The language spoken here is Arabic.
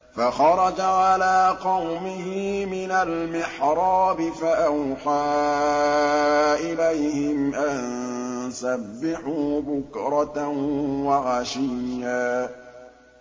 فَخَرَجَ عَلَىٰ قَوْمِهِ مِنَ الْمِحْرَابِ فَأَوْحَىٰ إِلَيْهِمْ أَن سَبِّحُوا بُكْرَةً وَعَشِيًّا